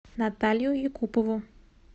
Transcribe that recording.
наталью якупову